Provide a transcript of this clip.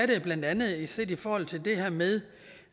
gælder blandt andet set i forhold til det her med